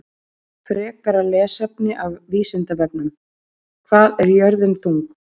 Frekara lesefni af Vísindavefnum: Hvað er jörðin þung?